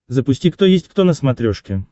запусти кто есть кто на смотрешке